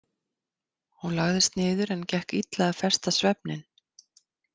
Hún lagðist niður en gekk illa að festa svefninn.